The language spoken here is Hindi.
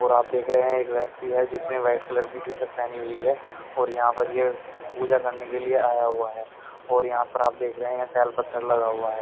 और आप देख रहे हैं एक व्यक्ति है जिसने वाइट कलर की टी-शर्ट पहनी हुई है और यहां पर यह पूजा करने के लिए आया हुआ है और यहां पर आप देख रहे हैं टेल पत्थर लगा हुआ है।